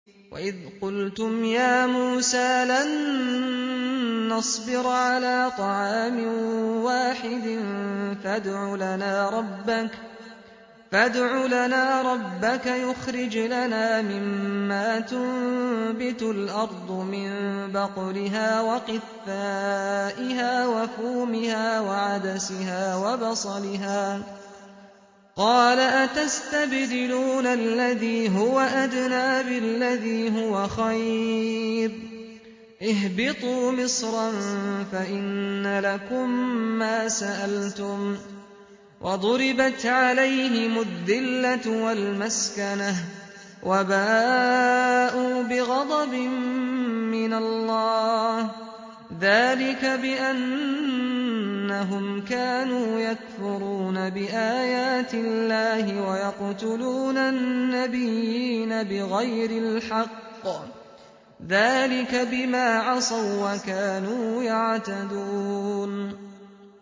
وَإِذْ قُلْتُمْ يَا مُوسَىٰ لَن نَّصْبِرَ عَلَىٰ طَعَامٍ وَاحِدٍ فَادْعُ لَنَا رَبَّكَ يُخْرِجْ لَنَا مِمَّا تُنبِتُ الْأَرْضُ مِن بَقْلِهَا وَقِثَّائِهَا وَفُومِهَا وَعَدَسِهَا وَبَصَلِهَا ۖ قَالَ أَتَسْتَبْدِلُونَ الَّذِي هُوَ أَدْنَىٰ بِالَّذِي هُوَ خَيْرٌ ۚ اهْبِطُوا مِصْرًا فَإِنَّ لَكُم مَّا سَأَلْتُمْ ۗ وَضُرِبَتْ عَلَيْهِمُ الذِّلَّةُ وَالْمَسْكَنَةُ وَبَاءُوا بِغَضَبٍ مِّنَ اللَّهِ ۗ ذَٰلِكَ بِأَنَّهُمْ كَانُوا يَكْفُرُونَ بِآيَاتِ اللَّهِ وَيَقْتُلُونَ النَّبِيِّينَ بِغَيْرِ الْحَقِّ ۗ ذَٰلِكَ بِمَا عَصَوا وَّكَانُوا يَعْتَدُونَ